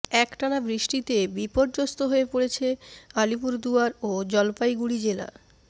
একটানা বৃষ্টিতে বিপর্যস্ত হয়ে পড়েছে আলিপুরদুয়ার ও জলপাইগুড়ি জেলার